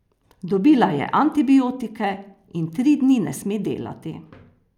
Dobila je antibiotike in tri dni ne sme delati.